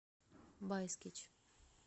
байскич